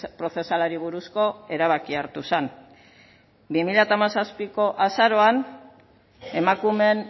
prozesalari buruzko erabakia hartu zen bi mila hamazazpiko azaroan emakumeen